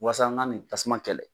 Wasa n ka nin tasuma kɛlɛ